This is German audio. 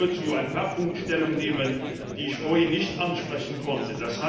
Ich möchte nur zu ein paar Punkten Stellung nehmen, die ich vorhin nicht ansprechen konnte.